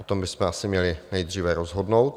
O tom bychom asi měli nejdříve rozhodnout.